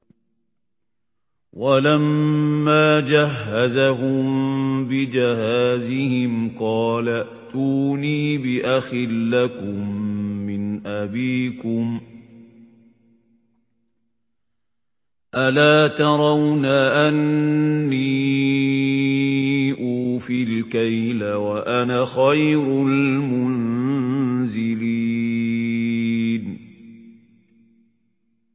وَلَمَّا جَهَّزَهُم بِجَهَازِهِمْ قَالَ ائْتُونِي بِأَخٍ لَّكُم مِّنْ أَبِيكُمْ ۚ أَلَا تَرَوْنَ أَنِّي أُوفِي الْكَيْلَ وَأَنَا خَيْرُ الْمُنزِلِينَ